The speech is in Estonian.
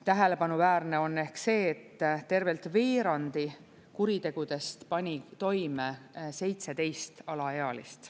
Tähelepanuväärne on see, et tervelt veerandi kuritegudest pani toime 17 alaealist.